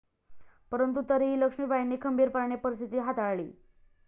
परंतु तरीही लक्ष्मीबाईंनी खंबीरपणाने परिस्थिती हाताळली.